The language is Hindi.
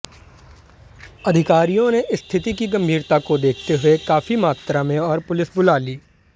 अधिकारियों ने स्थिति की गम्भीरता को देखते हुए काफी मात्रा में और पुलिस बुला ली